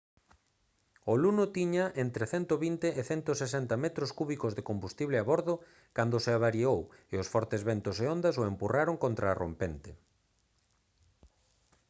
o luno tiña entre 120 e 160 metros cúbicos de combustible a bordo cando se avariou e os fortes ventos e ondas o empurraron contra a rompente